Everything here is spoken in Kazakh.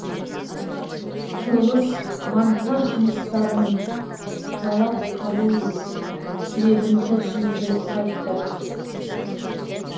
құрылыс монтаж жұмыстарының тұралап қалу себебін тілшіміз біліп қайтты